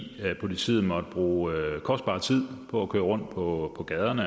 politiet måtte bruge kostbar tid på at køre rundt på gaderne